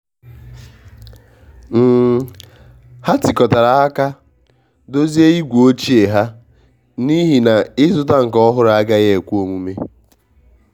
um ha tikotara aka dozie igwe ochie ha n'ihi na ịzụta nke ọhụrụ agaghị ekwe omume.